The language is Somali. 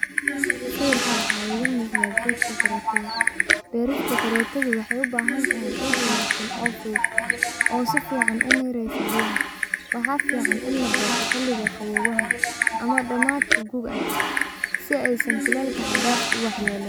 Sawirka waxa igamuqda brista korotada wexey ubahantahy ciid wanagsan oo fudud oo sifcan umireso biyaha, waxa fican ini laberto xiliga qowowaha ama damadka guuga si eysan kuleelka xadafka uwax yeleynin.